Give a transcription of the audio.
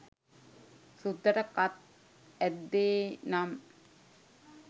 සුද්දාට කත් ඇද්දේ නම්